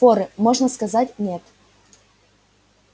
форы можно сказать нет